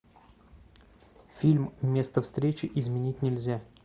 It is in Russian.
фильм место встречи изменить нельзя